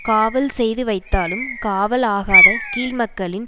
காவல் செய்து வைத்தாலும் காவல் ஆகாத கீழ்மக்களின்